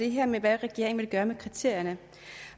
det her med hvad regeringen ville gøre med kriterierne